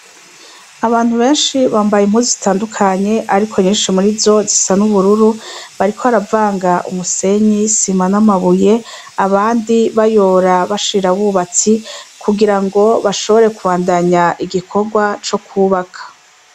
Abantu benshi bambaye impuzu zitandukanye, ariko nyinshi murizo zisa n' ubururu, bariko baravanga umusenyi, isima n' amabuye, abandi bayora bashira abubatsi, kugirango bashobore kubandanya igikorwa co kwubaka.